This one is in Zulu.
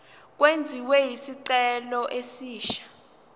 kwenziwe isicelo esisha